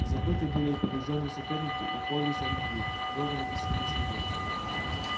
забыты были и побеждённые соперники и повесть о любви кровью написанная на снегу